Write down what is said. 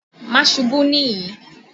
Má ṣubú nìyẹn!